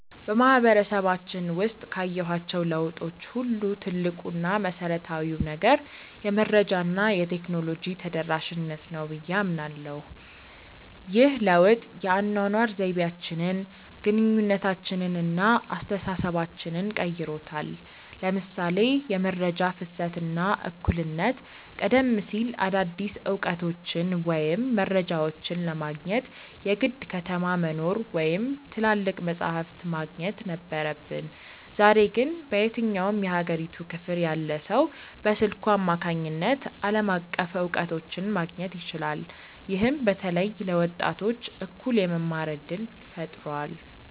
በማህበረሰባችን ውስጥ ካየኋቸው ለውጦች ሁሉ ትልቁ እና መሰረታዊው ነገር "የመረጃ እና የቴክኖሎጂ ተደራሽነት" ነው ብዬ አምናለሁ። ይህ ለውጥ የአኗኗር ዘይቤያችንን፣ ግንኙነታችንን እና አስተሳሰባችንን ቀይሮታል ለምሳሌ የመረጃ ፍሰት እና እኩልነት ቀደም ሲል አዳዲስ እውቀቶችን ወይም መረጃዎችን ለማግኘት የግድ ከተማ መኖር ወይም ትላልቅ መጻሕፍት ማግኘት ነበረብን። ዛሬ ግን በየትኛውም የሀገሪቱ ክፍል ያለ ሰው በስልኩ አማካኝነት ዓለም አቀፍ እውቀቶችን ማግኘት ይችላል። ይህም በተለይ ለወጣቶች እኩል የመማር እድልን ፈጥሯል።